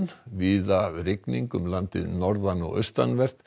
víða rigning um landið norðan og austanvert